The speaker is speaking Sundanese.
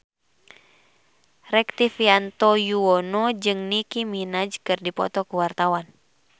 Rektivianto Yoewono jeung Nicky Minaj keur dipoto ku wartawan